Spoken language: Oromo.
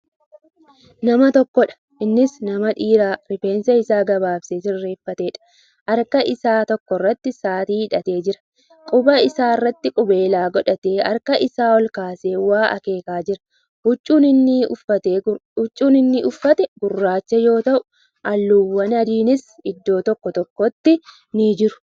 Nama tokkoodha. innis nama dhiira rifeensa Isaa gabaabsee sirreeffateedha. Harka Isaa tokkorratti sa'aatii hidhatee jira. Quba isaa irratti qubeellaa godhatee harka Isaa olkaasee waa akeekaa jira. Huccuun inni uffate gurraacha yoo ta'u halluuwwaan adiinis iddoo tokko tokkotti ni jiru.